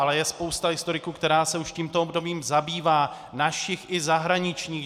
Ale je spousta historiků, která se už tímto obdobím zabývá, našich i zahraničních.